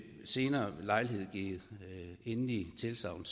senere lejlighed give endeligt tilsagn